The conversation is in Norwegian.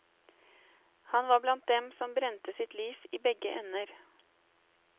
Han var blant dem som brente sitt lys i begge ender.